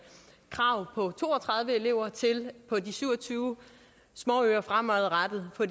krav på to og tredive elever til på de syv og tyve småøer fremadrettet at